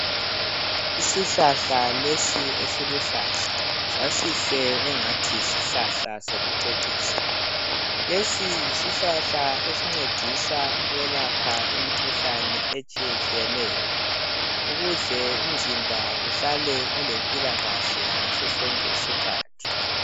Isihlahla lesi esiluhlaza sasihle angathi yisihlahla sokucecisa. Lesi yisihlahla esincedisa ukwelapha imikhuhlane etshiyetshiyeneyo ukuze umzimba uhlale ulempilakahle ngaso sonke isikhathi.